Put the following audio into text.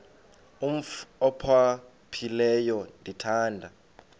umf ophaphileyo ndithanda